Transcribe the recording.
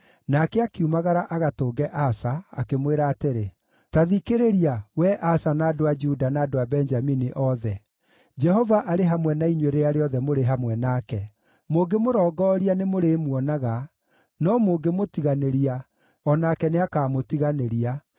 Nake akiumagara agatũnge Asa, akĩmwĩra atĩrĩ, “Ta thikĩrĩria, we Asa na andũ a Juda na andũ a Benjamini othe. Jehova arĩ hamwe na inyuĩ rĩrĩa rĩothe mũrĩ hamwe nake. Mũngĩmũrongooria nĩmũrĩmuonaga, no mũngĩmũtiganĩria, o nake nĩakamũtiganĩria.